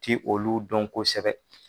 Ti olu dɔn kosɛbɛ.